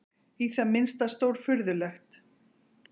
Í það minnsta stórfurðulegt.